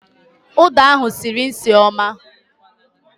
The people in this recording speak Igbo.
Uda ahụ sịrị nsị ọma